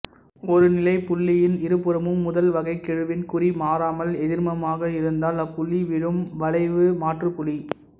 ஒரு நிலைப்புள்ளியின் இருபுறமும் முதல் வகைக்கெழுவின் குறி மாறாமல் எதிர்மமாக இருந்தால் அப்புள்ளி வீழும் வளைவுமாற்றுப்புள்ளி